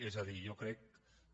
és a dir jo crec que